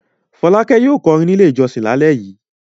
Fọ́lákẹ́ yóò kọrin nílé ìjọsìn lálẹ́ yìí.